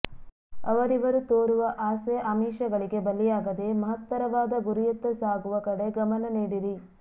ಅವರಿವರು ತೋರುವ ಆಸೆ ಆಮಿಷಗಳಿಗೆ ಬಲಿಯಾಗದೇ ಮಹತ್ತರವಾದ ಗುರಿಯತ್ತ ಸಾಗುವ ಕಡೆ ಗಮನನೀಡಿರಿ